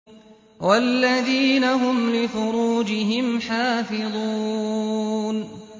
وَالَّذِينَ هُمْ لِفُرُوجِهِمْ حَافِظُونَ